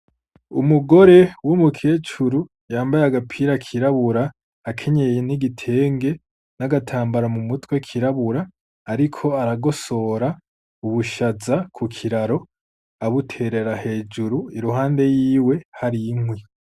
Umugore w’umukecuru yambaye agapira kirabura, akenyeye n’igitenge n’agatambara mu mutwe kirabura, ariko aragosora ubushaza ku kiraro abuterera hejuru iruhande yiwe hari inkwi.